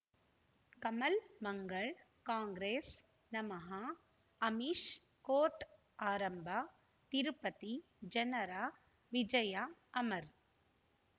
ಕಮಲ್ ಮಂಗಳ್ ಕಾಂಗ್ರೆಸ್ ನಮಃ ಅಮಿಷ್ ಕೋರ್ಟ್ ಆರಂಭ ತಿರುಪತಿ ಜನರ ವಿಜಯ ಅಮರ್